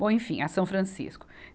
Bom, enfim, a São Francisco.